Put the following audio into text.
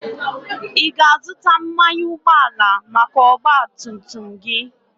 Ị ga-azụta mmanụ ụgbọala maka ọgba tum tum gị?